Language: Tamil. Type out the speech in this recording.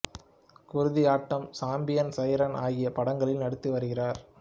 குருதி ஆட்டம் சாம்பியன் சைரன் ஆகிய படங்களில் நடித்து வருகிறார்